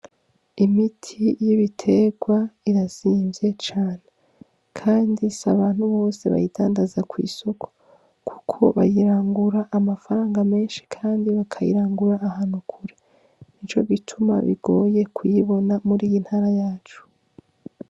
Imiti y' ibitegwa irazimvye cane kandi si abantu bose bayidandaza kw' isoko kuko bayirangura amafaranga menshi kandi bakayirangura ahantu kure nico gituma bigoye kuyibona muri iyi ntara yacu.